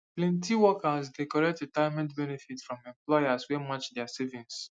plenty workers dey collect retirement benefits from employers wey match their savings